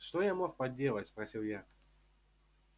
что я мог поделать спросил я